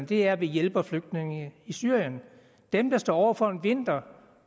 det at vi hjælper flygtningene i syrien dem der står over for en vinter